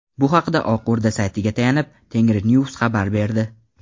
Bu haqda Oq O‘rda saytiga tayanib, Tengrinews xabar berdi .